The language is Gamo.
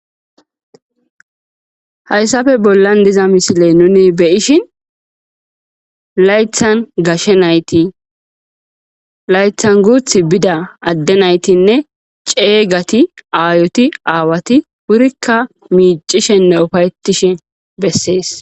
Hayssafe bollan diza misile nuni beyishin layethan gashe nayti laythan guth bida adde naytinne ceeygati aayoti aawati wurikka miicishinne ufayetishe bessees.